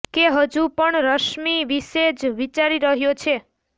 કે હજુ પણ રશ્મિ વિશે જ વિચારી રહ્યો છે